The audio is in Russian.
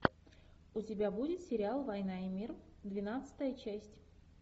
у тебя будет сериал война и мир двенадцатая часть